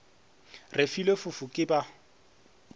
re filwe fofo ke ba